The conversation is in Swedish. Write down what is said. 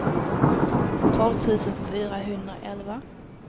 tolv tusen fyrahundraelva